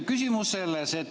Küsimus on selles.